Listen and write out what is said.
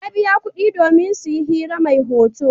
Ya biya kuɗi domin su yi hira mai hoto.